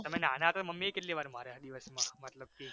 તમે નાના હતા ત્યારે મમ્મી એ કેટલી વાર માર્યા દિવસ માં મતલબ કે